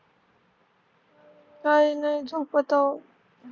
काही नाही झोपत आहो